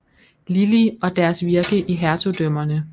Lillie og deres virke i hertugdømmerne